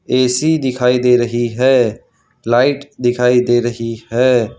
AC दिखाई दे रही है लाइट दिखाई दे रही है।